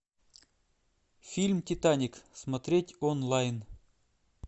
фильм титаник смотреть онлайн